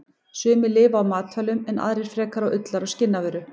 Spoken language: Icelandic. Sumar lifa á matvælum en aðrar frekar á ullar- og skinnavöru.